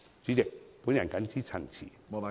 主席，我謹此陳辭。